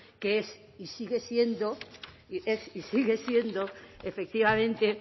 que es y sigue siendo efectivamente